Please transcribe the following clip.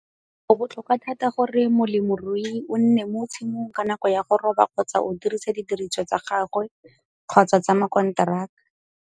Go botlhokwa thata gore molemirui o nne mo tshimong ka nako ya go roba kgotsa o dirisa didiriswa tsa gagwe kgotsa tsa mokonteraka.